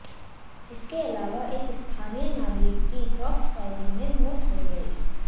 इसके अलावा एक स्थानीय नागरिक की क्रास फायरिंग में मौत हो गई